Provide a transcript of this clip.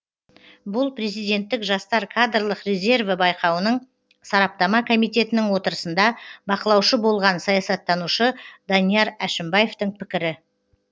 бұл президенттік жастар кадрлық резерві байқауының сараптама комитетінің отырысында бақылаушы болған саясаттанушы данияр әшімбаевтың пікірі